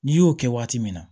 N'i y'o kɛ waati min na